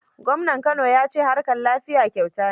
Gwamnan Kano ya ce harkar lafiya kyauta ne.